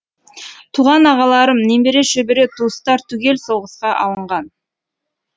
туған ағаларым немере шөбере туыстар түгел соғысқа алынған